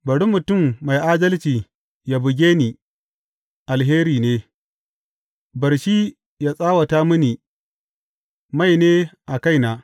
Bari mutum mai adalci yă buge ni, alheri ne; bar shi yă tsawata mini, mai ne a kaina.